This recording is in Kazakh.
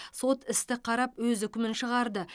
сот істі қарап өз үкімін шығарды